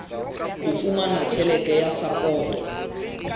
ho fumana tjhelete ya sapoto